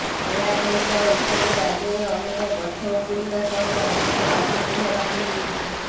ଏହା ସହିତ ଏସବୁ ରାଜ୍ୟରେ ଅନେକ ଗଛ ଉପୁଡିବା ସହ ଅନେକ ବାସଗୃହ ଭାଙ୍ଗିଯାଇଛି